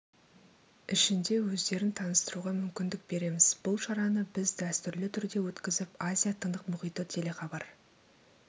ішінде өздерін таныстыруға мүмкіндік береміз бұл шараны біз дәстүрлі түрде өткізіп азия тынық мұхиты телехабар